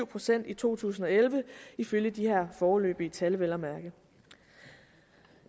procent i to tusind og elleve ifølge de her foreløbige tal vel at mærke